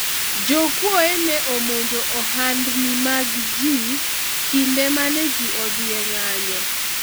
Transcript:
jokuoye ne omonjo ohandni mag ji kinde mane ji odhi e ng'anyo